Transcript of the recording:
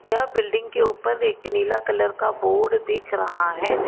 यह बिल्डिंग के ऊपर एक नीला कलर का बोर्ड देख रहा है।